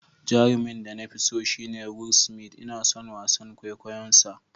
Jarumin da na fi so shine Will Smith, Ina son wasan kwaikwayonsa.